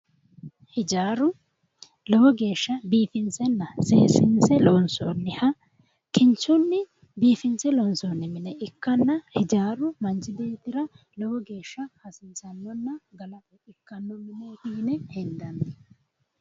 Hijaaru lowo geeshsha biifinse seessinse loonsoonniha kinchunni biifinse loonsoonniha mine ikkanna ijaaru manchi beettira lowo geeshsha hasiissannona galate ikkanno yine hendanni mineeti